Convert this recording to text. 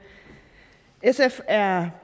er